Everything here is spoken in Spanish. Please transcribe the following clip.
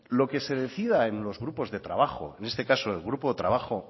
lo que se decida en los grupos de trabajo en este caso del grupo de trabajo